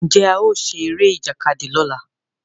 Njé ao ṣe Eré Ìjàkadì lọla?